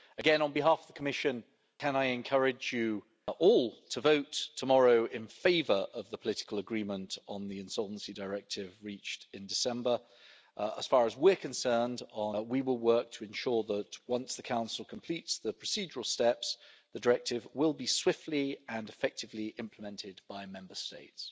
Again, on behalf of the Commission, I encourage you all to vote tomorrow in favour of the political agreement on the Insolvency Directive reached in December. As far as we're concerned, we will work to ensure that, once the Council completes the procedural steps, the Directive will be swiftly and effectively implemented by Member States.